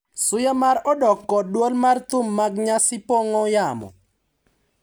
Suya mar odok kod dwol mar thum mag nyasi pong’o yamo,